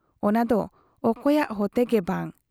ᱚᱱᱟ ᱫᱚ ᱚᱠᱚᱭᱟᱜ ᱦᱚᱛᱮ ᱜᱮ ᱵᱟᱝ ᱾